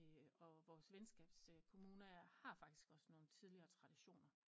Og vores venskabs kommune har faktisk også nogen tideligere traditioner